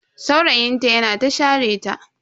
Saurayin ta yana ta share ta.